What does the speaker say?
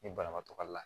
Ni banabaatɔ ka la